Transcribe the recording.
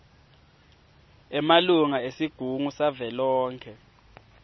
emalunga esigungu savelonkhe